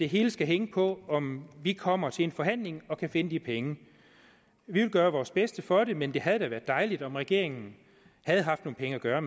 hele skal hænge på om vi kommer til en forhandling og kan finde de penge vi vil gøre vores bedste for det men det havde da været dejligt om regeringen havde haft nogle penge at gøre